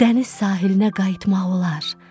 Dəniz sahilinə qayıtmaq olar.